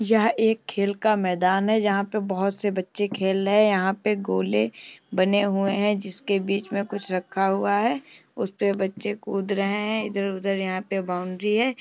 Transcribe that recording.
यह एक खेल का मैदान है जहाँ पे बहुत से बच्चे खेल रहे हैं यहाँ पे गोले बनें हुए हैं जिसके बीच में कुछ रखा हुआ है। उस पे बच्चे कूद रहे हैं इधर-उधर यहाँ पे बाउंड्री है।